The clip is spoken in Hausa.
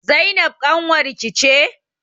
Zainab ƙanwar ki ce?